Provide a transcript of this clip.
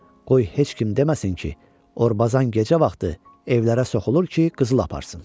Qoy heç kim deməsin ki, Orbazan gecə vaxtı evlərə soxulur ki, qızıl aparsın.